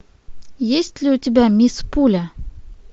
есть ли у тебя мисс пуля